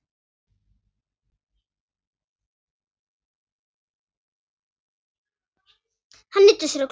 Hann nuddar á sér klofið.